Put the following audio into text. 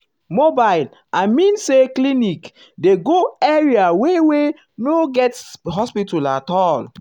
mobile i mean say clinic um dey go area wey wey no get hospital at all.